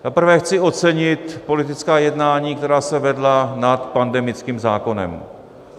Za prvé chci ocenit politická jednání, která se vedla nad pandemickým zákonem.